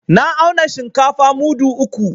Na auna shinkafa mudu uku.